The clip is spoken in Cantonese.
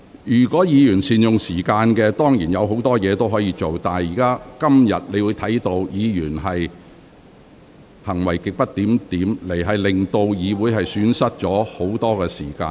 如果議員早前能善用時間，本會當然會有時間處理其他事情，但今天部分議員行為極不檢點，令議會損失很多時間。